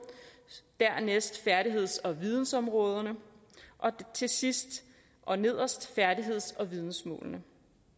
dernæst færdigheds og vidensområderne og til sidst og nederst færdigheds og vidensmålene